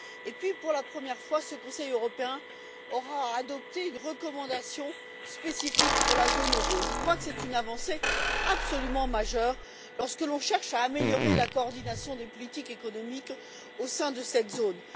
En outre, pour la première fois, ce Conseil européen aura à adopter une recommandation spécifique pour la zone euro. Selon moi, c'est une avancée absolument majeure lorsque l'on cherche à améliorer la coordination des politiques économiques au sein de cette zone.